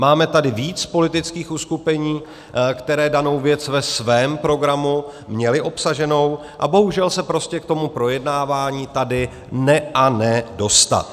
Máme tady víc politických uskupení, která danou věc ve svém programu měla obsaženu, a bohužel se prostě k tomu projednávání tady ne a ne dostat.